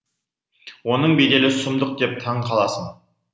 оның беделі сұмдық деп таң қаласың